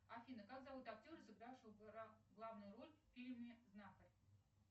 афина как зовут актера сыгравшего главную роль в фильме знахарь